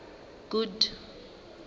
good